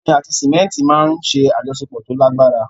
Omi àti símẹ́ńtì máa ń ṣe àjọṣepọ̀ tó lágbára.